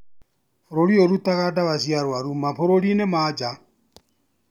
Bũrũri ũyũ ũrutaga dawa cia arwaru mabũrũri ma nanja